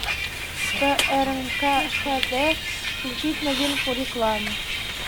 по рнк ха дэ включить новинку рекламы